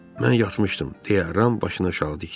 Mən yatmışdım, deyə Ram başını aşağı dikdi.